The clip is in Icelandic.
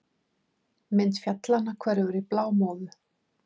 Mynd fjallanna hverfur í blámóðu.